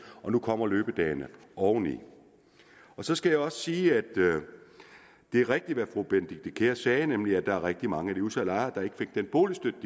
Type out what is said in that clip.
og nu kommer løbedagene oveni så skal jeg også sige at det er rigtigt hvad fru benedikte kiær sagde nemlig at der er rigtig mange af de udsatte lejere der ikke fik den boligstøtte